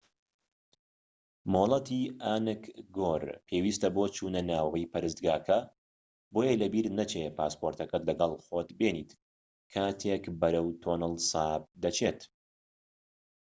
مۆڵەتی ئانگکۆر پێویستە بۆ چوونەناوەوەی پەرستگاکە بۆیە لەبیرت نەچێت پاسەپۆرتەکەت لەگەڵ خۆت بێنیت کاتێک بەرەو تۆنڵ ساپ دەچێت